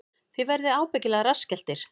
Þið verðið ábyggilega rassskelltir